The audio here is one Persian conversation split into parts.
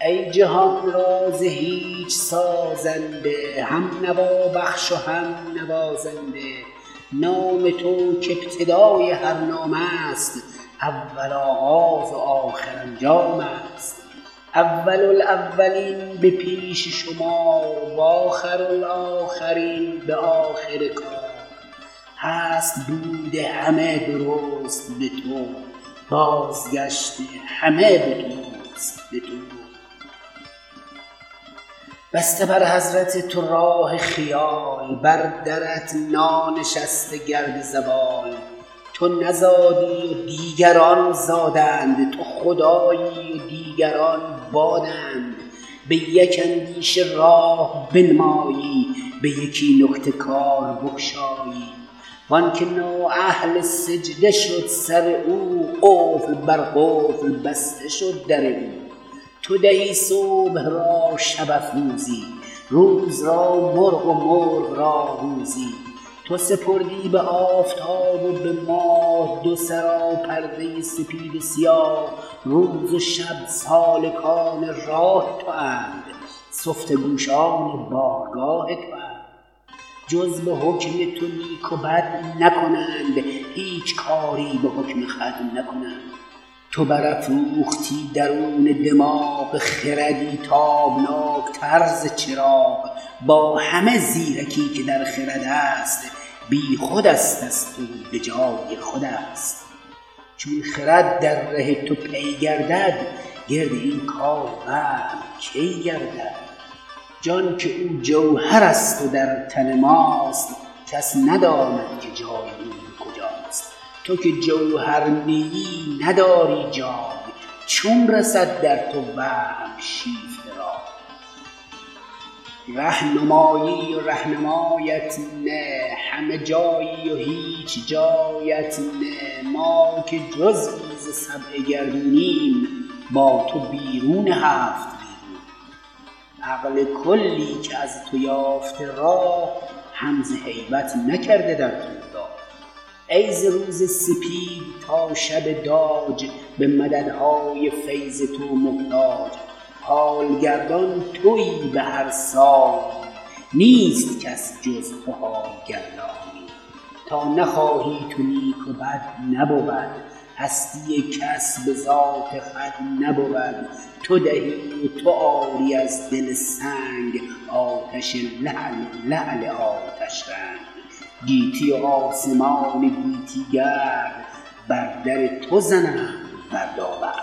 ای جهان را ز هیچ سازنده هم نوا بخش و هم نوازنده نام تو که ابتدای هر نام ست اول آغاز و آخر انجام ست اول الاولین به پیش شمار و آخرالاخرین به آخر کار هست بود همه درست به تو بازگشت همه به توست به تو بسته بر حضرت تو راه خیال بر درت نانشسته گرد زوال تو نزادی و دیگران زادند تو خدایی و دیگران بادند به یک اندیشه راه بنمایی به یکی نکته کار بگشایی وانکه نااهل سجده شد سر او قفل بر قفل بسته شد در او تو دهی صبح را شب افروزی روز را مرغ و مرغ را روزی تو سپردی به آفتاب و به ماه دو سرا پرده سپید و سیاه روز و شب سالکان راه تواند سفته گوشان بارگاه تواند جز به حکم تو نیک و بد نکنند هیچ کاری به حکم خود نکنند تو بر افروختی درون دماغ خردی تابناک تر ز چراغ با همه زیرکی که در خرد ست بی خودست از تو و به جای خودست چون خرد در ره تو پی گردد گرد این کار وهم کی گردد جان که او جوهر ست و در تن ماست کس نداند که جای او به کجاست تو که جوهر نیی نداری جای چون رسد در تو وهم شیفته رای ره نمایی و رهنمایت نه همه جایی و هیچ جایت نه ما که جزیی ز سبع گردون یم با تو بیرون هفت بیرونیم عقل کلی که از تو یافته راه هم ز هیبت نکرده در تو نگاه ای ز روز سپید تا شب داج به مدد های فیض تو محتاج حال گردان تویی به هر سانی نیست کس جز تو حال گردانی تا نخواهی تو نیک و بد نبود هستی کس به ذات خود نبود تو دهی و تو آری از دل سنگ آتش لعل و لعل آتش رنگ گیتی و آسمان گیتی گرد بر در تو زنند بردابرد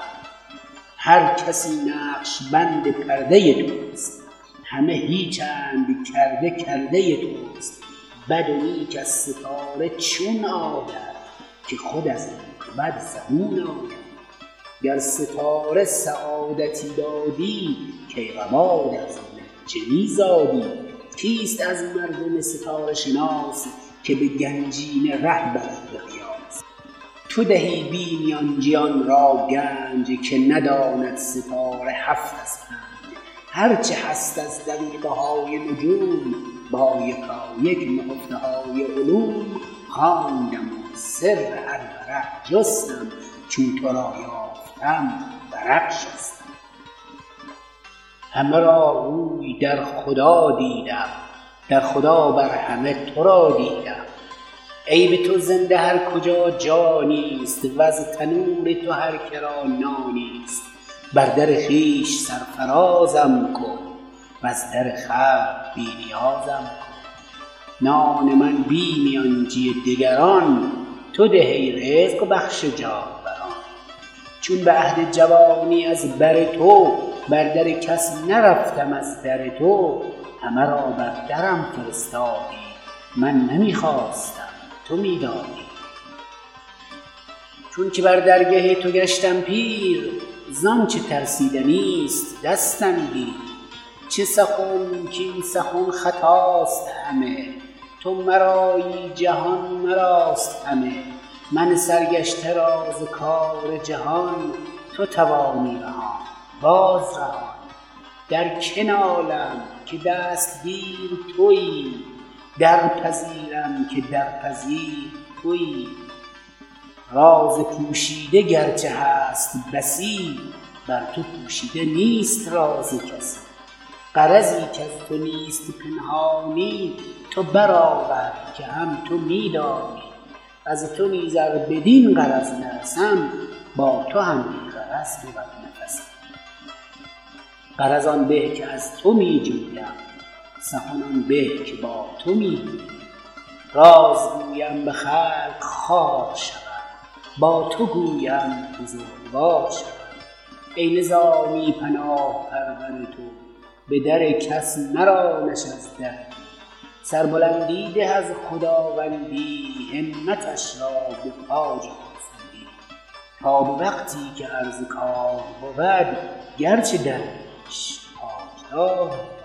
هر کسی نقش بند پرده توست همه هیچ ند کرده کرده توست بد و نیک از ستاره چون آید که خود از نیک و بد زبون آید گر ستاره سعادتی دادی کیقباد از منجمی زادی کیست از مردم ستاره شناس که به گنجینه ره برد به قیاس تو دهی بی میانجی آنرا گنج که نداند ستاره هفت از پنج هر چه هست از دقیقه های نجوم با یکایک نهفته های علوم خواندم و سر هر ورق جستم چون تو را یافتم ورق شستم همه را روی در خدا دیدم در خدا بر همه تورا دیدم ای به تو زنده هر کجا جانی ست وز تنور تو هر که را نانی ست بر در خویش سر فراز م کن وز در خلق بی نیاز م کن نان من بی میانجی دگران تو ده ای رزق بخش جانوران چون به عهد جوانی از بر تو بر در کس نرفتم از در تو همه را بر درم فرستادی من نمی خواستم تو می دادی چون که بر درگه تو گشتم پیر ز آنچه ترسیدنی ست دستم گیر چه سخن کاین سخن خطاست همه تو مرایی جهان مراست همه من سرگشته را ز کار جهان تو توانی رهاند باز رهان در که نالم که دستگیر تویی در پذیرم که درپذیر تویی راز پوشیده گرچه هست بسی بر تو پوشیده نیست راز کسی غرضی کز تو نیست پنهانی تو بر آور که هم تو می دانی از تو نیز ار بدین غرض نرسم با تو هم بی غرض بود نفسم غرض آن به که از تو می جویم سخن آن به که با تو می گویم راز گویم به خلق خوار شوم با تو گویم بزرگوار شوم ای نظامی پناه پرور تو به در کس مرانش از در تو سر بلند ی ده از خداوندی همتش را به تاج خرسندی تا به وقتی که عرض کار بود گرچه درویش تاجدار بود